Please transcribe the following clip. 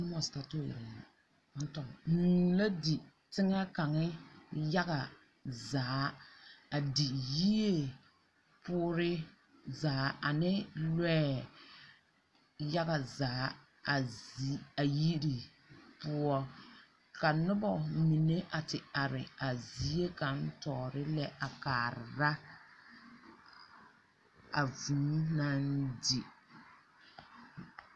Hũũ la di teŋɛ kaŋa yaga zaa. A di yie poore zaa ane lɔɛ yaga zaa, a zi.. a yiri poɔ. Ka noba mine a te are a zie ka`tɔɔre lɛ a kaara a vũũ naŋ di.